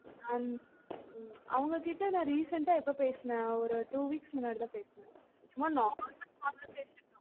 அவுங்க கிட்ட recent ஆ நான் ஏப்ப பேசுனன் ஒரு two week முன்னாடி தான் பேசுன, சும்மா normal call பேசுனன்